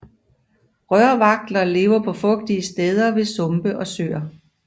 Rørvagtler lever på fugtige steder ved sumpe og søer